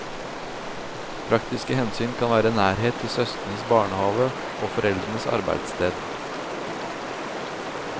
Praktiske hensyn kan være nærhet til søskens barnehave og foreldres arbeidssted.